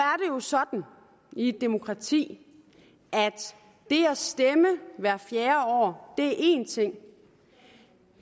sådan i et demokrati at det at stemme hvert fjerde år er én ting